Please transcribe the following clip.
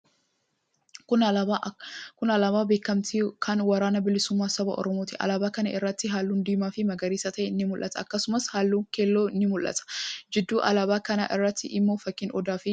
Kuni alaabaa beekkamtii kan waraana bilisummaa saba Oromooti. Alaabaa kana irratti haallun diimaa fii magariisa ta'e ni mul'ata. Akkasumas haallun keelloo ni mul'ata. Gidduu alaabaa kanaa irratti immoo fakkiin Odaa fii urjii ni jira.